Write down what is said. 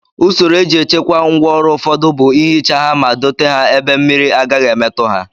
Usoro e ji echekwa ngwa ọrụ ụfọdụ bụ ihicha ha ma dote ha ebe mmiri agaghị emetụ ha